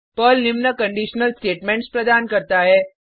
Perl निम्न conditional statements प्रदान करता है